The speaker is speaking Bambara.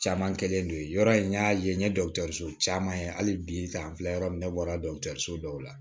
Caman kɛlen don yen yɔrɔ in n y'a ye n ye so caman ye hali bi an filɛ yɔrɔ min na ne bɔra so dɔw la